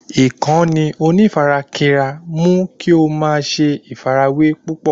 Ìkànnì onífarakínra mú kí o ma ṣe àfàrawẹ́ púpọ̀